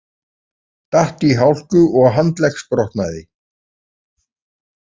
Datt í hálku og handleggsbrotnaði